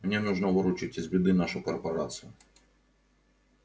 мне нужно выручить из беды нашу корпорацию